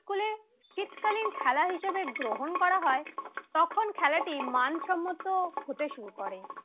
খেলা হিসেবে গ্রহণ করা হয় তখনই তখন খেলাটি মানসম্মত হতে শুরু করে